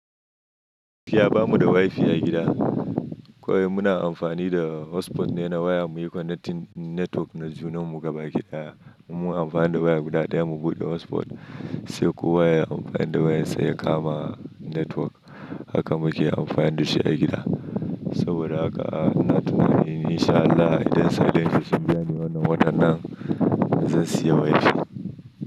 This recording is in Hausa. Fiya bamu da wifi a gida, kawai muna amfani da hotspot ne na waya. Mu yi connecting network na junan mu gaba ki ɗaya, mu amfani da za guda ɗaya mu buɗe hotspot, sai kowa ya amfani da wayar sa ya kama network. Haka muke amfani da shi a gida. Saboda haka ina tunani in sha Allah idan sadangi sun biya ni wannan watan nan zan siya wifi.